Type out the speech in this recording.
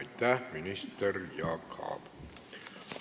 Aitäh, minister Jaak Aab!